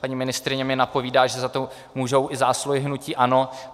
Paní ministryně mi napovídá, že za to můžou i zásluhy hnutí ANO.